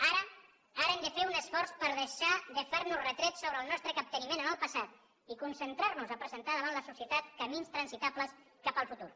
ara hem de fer un esforç per deixar de fer nos retrets sobre el nostre capteniment en el passat i concentrar nos a presentar davant la societat camins transitables cap al futur